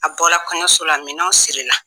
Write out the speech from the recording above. A bɔra kɔɲɔso la minɛnw siri la.